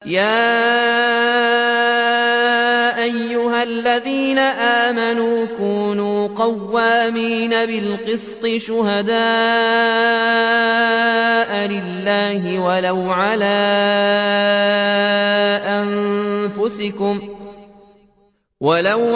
۞ يَا أَيُّهَا الَّذِينَ آمَنُوا كُونُوا قَوَّامِينَ بِالْقِسْطِ شُهَدَاءَ لِلَّهِ وَلَوْ